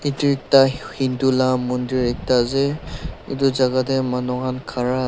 etu ekta hindu laga mandir ekta ase etu jagah te manu khan khara--